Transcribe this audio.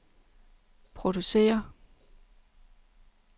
producerer